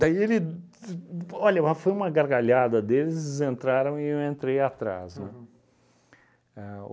Daí ele d, olha, mas foi uma gargalhada deles, eles entraram e eu entrei atrás. Aham. Ahn